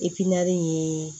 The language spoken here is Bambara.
ye